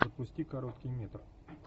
запусти короткий метр